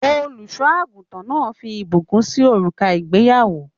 Olùṣọ àgùntàn náà fí ìbùkún sì òrùka ìgbéyàwó.